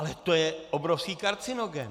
Ale to je obrovský karcinogen!